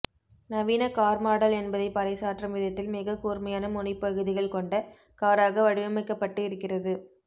நவீன car model என்பதை பரைசாற்றும் விதத்தில் மிக கூர்மையான முனைப்பகுதிகள் கொண்ட காராக வடிவமைக்கப்பட்டு இருக்கிறது